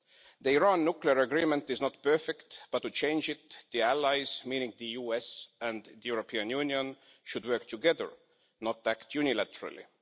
The Iran nuclear agreement is not perfect, but to change it, the allies meaning the US and the European Union should work together, not act unilaterally.